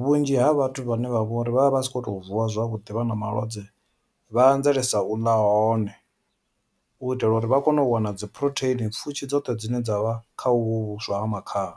vhunzhi ha vhathu vhane vha vhori vha vha vha si kho to vuwa zwavhuḓi vha na malwadze vha anzelesa uḽa hone u itela uri vha kone u wana dzi phurotheini pfhushi dzoṱhe dzine dzavha kha uvhu vhuswa ha makhaha.